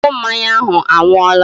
Ọṅụ mmanya ahụ anwụọla